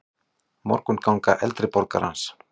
Morgunganga eldri borgarans.